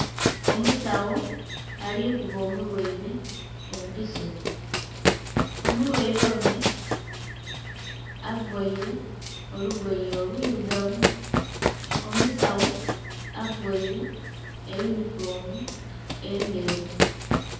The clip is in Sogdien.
Omusawo ali kuba omulwaire empiso. Omulwaire ono avaire olugoye olwirugavu. Omusawo availe eyunifoomu endheru.